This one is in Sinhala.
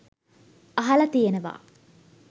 අහල තියෙනවා.